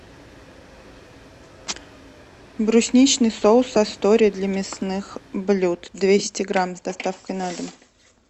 брусничный соус астория для мясных блюд двести грамм с доставкой на дом